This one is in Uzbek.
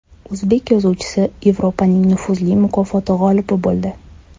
O‘zbek yozuvchisi Yevropaning nufuzli mukofoti g‘olibi bo‘ldi.